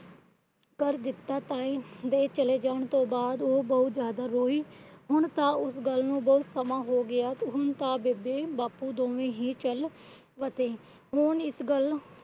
ਕਰ ਦਿੱਤਾ। ਤਾਏ ਦੇ ਚਲੇ ਜਾਣ ਤੋਂ ਬਾਅਦ ਉਹ ਬਹੁਤ ਜਿਆਦਾ ਰੋਈ। ਹੁਣ ਤਾ ਉਸ ਗੱਲ ਨੂੰ ਬਹੁਤ ਸਮਾਂ ਹੋ ਗਿਆ। ਹੁਣ ਤਾਂ ਬੇਬੇ ਬਾਪੂ ਦੋਵੇ ਹੀ ਚਾਲ ਵਸੇ। ਇਸ ਗੱਲ ਦੇ